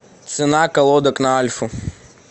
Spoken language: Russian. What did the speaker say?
цена колодок на альфу